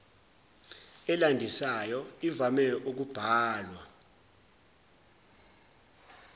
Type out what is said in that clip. elandisayo ivame ukubhalwa